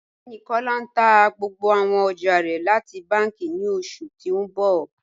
Ọgbẹni Kọla n tà gbogbo àwọn ọjà rẹ láti bànki ní oṣù tí n bọ